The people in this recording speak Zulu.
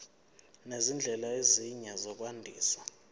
nezindlela ezinye zokwandisa